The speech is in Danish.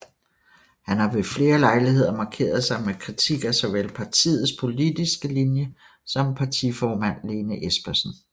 Han har ved flere lejligheder markeret sig med kritik af såvel partiets politiske linje som partiformand Lene Espersen